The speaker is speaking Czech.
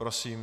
Prosím.